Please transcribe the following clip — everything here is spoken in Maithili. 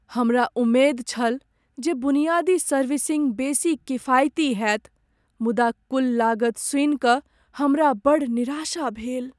हमरा उम्मेद छल जे बुनियादी सर्विसिंग बेसी किफायती होएत मुदा कुल लागत सुनि कऽ हमरा बड़ निराशा भेल।